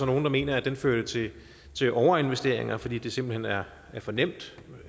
nogle der mener førte til overinvesteringer fordi det simpelt hen er for nemt